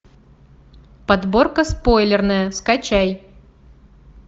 подборка спойлерная скачай